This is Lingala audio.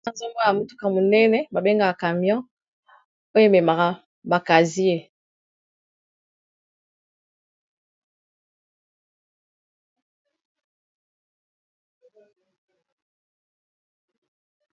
Awa nazomona motuka monene babengaka camion oyo ememaka bakazie